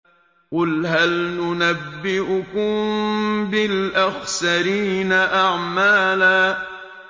قُلْ هَلْ نُنَبِّئُكُم بِالْأَخْسَرِينَ أَعْمَالًا